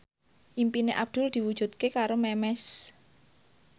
impine Abdul diwujudke karo Memes